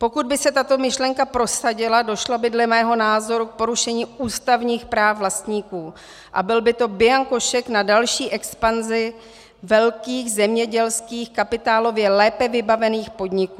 Pokud by se tato myšlenka prosadila, došlo by dle mého názoru k porušení ústavních práv vlastníků a byl by to bianko šek na další expanzi velkých zemědělských kapitálově lépe vybavených podniků.